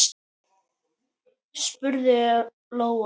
spurði Lóa.